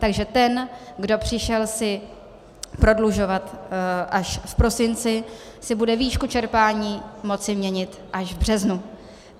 Takže ten, kdo si přišel prodlužovat až v prosinci, si bude výšku čerpání moci měnit až v březnu.